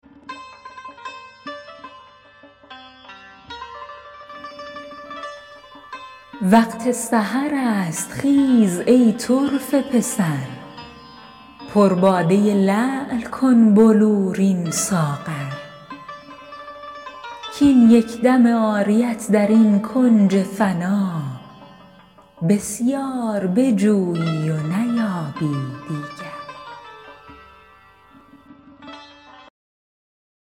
وقت سحر است خیز ای طرفه پسر پر باده لعل کن بلورین ساغر کاین یک دم عاریت در این کنج فنا بسیار بجویی و نیابی دیگر